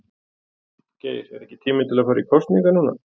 Geir er ekki tími til að fara í kosningar núna?